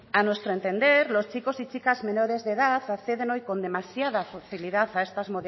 a nuestro entender los chicos y chicas menores de edad acceden hoy con demasiada facilidad a estas